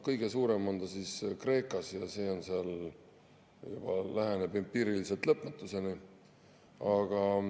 Kõige suurem on see Kreekas ja läheneb juba empiiriliselt lõpmatuseni.